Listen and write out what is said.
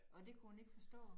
Og det kunne hun ikke forstå